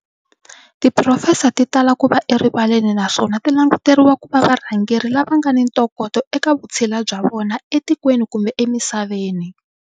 Tiphurofesa ti tala ku va erivaleni na swona ti languteriwa kuva varhangeri lava ngana ntokoto eka vutshila bya vona e tikweni kumbe emisaveni.